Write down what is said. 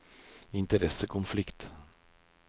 interessekonflikt